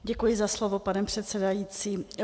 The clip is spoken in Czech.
Děkuji za slovo, pane předsedající.